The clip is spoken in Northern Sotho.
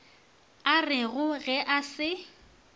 a rego ge a se